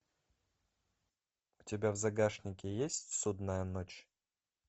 у тебя в загашнике есть судная ночь